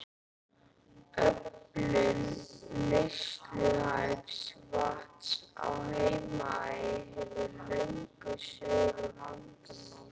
Öflun neysluhæfs vatns á Heimaey hefur löngum verið vandamál.